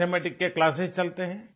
mathematics के classes चलते हैं